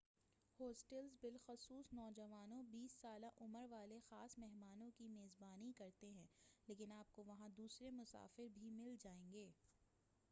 hostels بالخصوص نوجوانوں بیس سالہ عمر والے خاص مہمانوں کی میزبانی کرتے ہیں لیکن آپ کو وہاں دوسرے مسافر بھی مل جائیں گے